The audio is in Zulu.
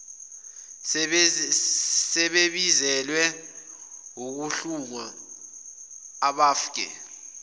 sebebizelwe ukuhlungwa abfake